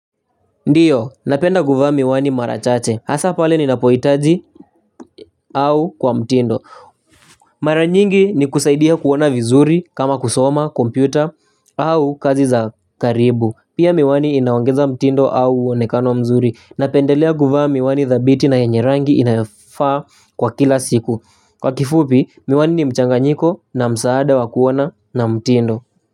Ndiyo napenda guvaa miwani marachache hasa pale ni napoitaji au kwa mtindo mara nyingi ni kusaidia kuona vizuri kama kusoma kompyuta au kazi za karibu pia miwani inaongeza mtindo au uonekano mzuri napendelea guvaa miwani dhabiti na yenye rangi inayofaa kwa kila siku kwa kifupi miwani ni mchanga nyiko na msaada wa kuona na mtindo.